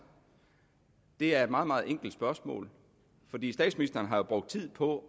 det er et meget meget enkelt spørgsmål fordi statsministeren jo har brugt tid på